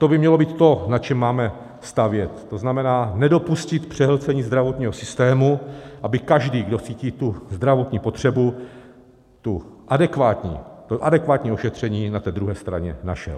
To by mělo být to, na čem máme stavět, to znamená, nedopustit přehlcení zdravotního systému, aby každý, kdo cítí tu zdravotní potřebu, to adekvátní ošetření na té druhé straně našel.